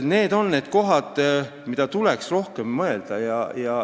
Need on need kohad, millele tuleks rohkem mõelda.